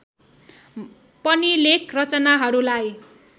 पनि लेख रचनाहरूलाई